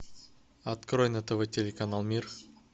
открой на тв телеканал мир